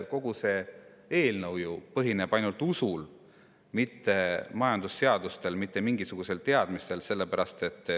Kogu see eelnõu põhineb ju ainult usul, mitte majandusseadustel, mitte mingisugusel teadmisel.